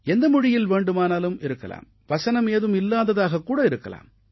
எந்த மொழியில் வேண்டுமானாலும் இருக்கலாம் வசனம் ஏதும் இல்லாததாகக் கூட இருக்கலாம்